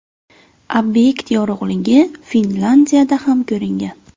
Obyekt yorug‘ligi Finlyandiyada ham ko‘ringan.